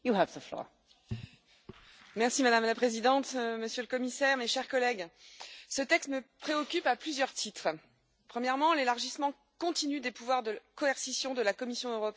Madame la Présidente, Monsieur le Commissaire, mes chers collègues, ce texte me préoccupe à plusieurs titres premièrement, l'élargissement continu des pouvoirs de coercition de la Commission européenne au détriment des États membres.